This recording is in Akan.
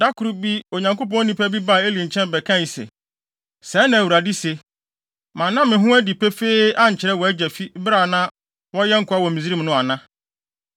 Da koro bi Onyankopɔn nipa bi baa Eli nkyɛn bɛkae se, “Sɛɛ na Awurade se, ‘Manna me ho adi pefee ankyerɛ wʼagya fi bere a na wɔyɛ nkoa wɔ Misraim no ana?